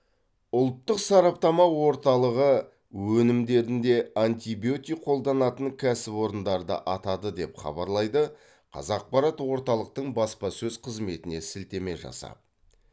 ұлттық сараптама орталығы өнімдерінде антибиотик қолданатын кәсіпорындарды атады деп хабарлайды қазақпарат орталықтың баспасөз қызметіне сілтеме жасап